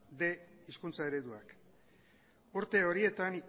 bostehun hizkuntza ereduak urte horietan